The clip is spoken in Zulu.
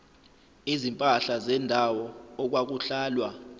izimpahla zendawo okwakuhlalwa